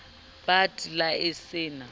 bat la e se na